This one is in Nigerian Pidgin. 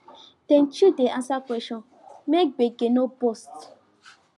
dem chill dey answer question make gbege no burst